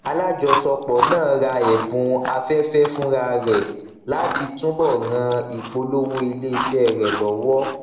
alájọsọpọ náà ra ẹbùn afẹfẹ fúnra rẹ láti túbò ràn ìpolówó iléiṣẹ rẹ lọwọ